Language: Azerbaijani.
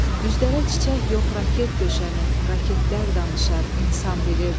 Düzlərə çiçək yox, raket döşənib, raketlər danışar, insan bilirdi.